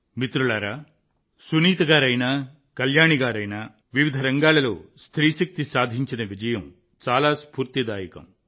మిత్రులారా సునీత గారైనా కళ్యాణి గారైనా వివిధ రంగాలలో స్త్రీ శక్తి సాధించిన విజయం చాలా స్ఫూర్తిదాయకం